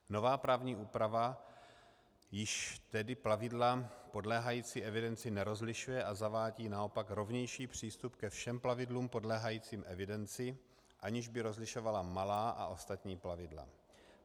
Nová právní úprava již tedy plavidla podléhající evidenci nerozlišuje a zavádí naopak rovnější přístup ke všem plavidlům podléhajícím evidenci, aniž by rozlišovala malá a ostatní plavidla.